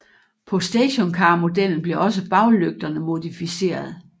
På stationcarmodellen blev også baglygterne modificeret